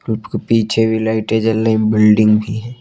पीछे भी लाइटे जल बिल्डिंग भी है।